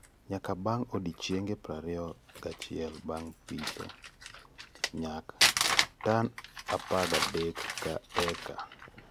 Nyak bang odiochienge prariyo ga achiel bang pitho- nyak: tan apagadek ka eka Raising Seedling